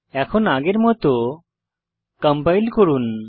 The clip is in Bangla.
এখন আগের মত কম্পাইল করুন